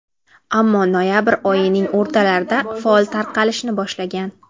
ammo noyabr oyining o‘rtalarida faol tarqalishni boshlagan.